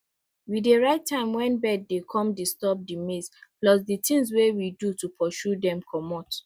we dey write time when bird dey come disturb di maize plus di things wey we do to pursue dem comot